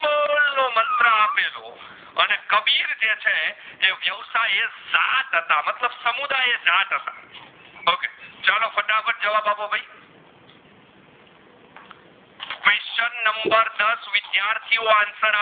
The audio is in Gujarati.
વિદ્યાર્થીઓ answer